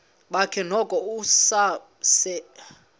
bakhe noko usasebenza